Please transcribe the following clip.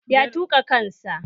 Ya tuƙa kan sa